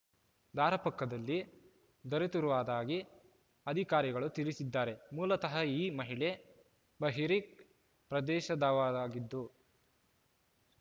ದಾರ ಪಕ್ಕದಲ್ಲಿ ದೊರೆತಿರವದಾಗಿ ಅಧಿಕಾರಿಗಳು ತಿಳಿಸಿದ್ದಾರೆ ಮೂಲತಃ ಈ ಮಹಿಳೆ ಬಹರಿಕ್ ಪ್ರದೇಶದವಳಾಗಿದ್ದು